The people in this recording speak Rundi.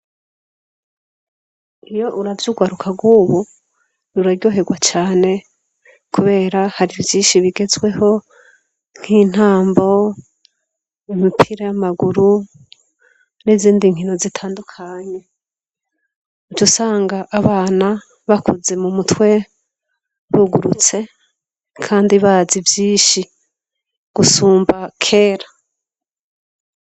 Iyo uravye urwaruka rw'ubu, ruraryoherwa cane, kubera hari vyinshi bigezweho nk'intambo, imipira y'amaguru n'izindi nkino zitandukanye. Uca usanga abana bakuze mu mutwe, bugurutse kandi bazi vyinshi gusumba kera.